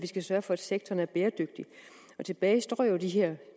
skal sørge for at sektoren er bæredygtig tilbage står jo de her